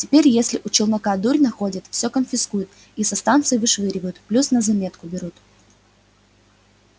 теперь если у челнока дурь находят всё конфискуют и со станции вышвыривают плюс на заметку берут